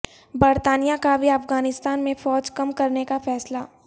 برطانیہ کا بھی افغانستان میں فوج کم کرنے کا فیصلہ